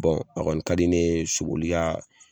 Bɔn a kɔni ka di ne ye soboli ka